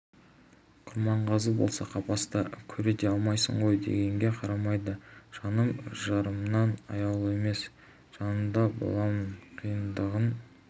құрманғазы болса қапаста көре де алмайсың ғой дегенге қарамайды жаным жарымнан аяулы емес жанында боламын қиындығын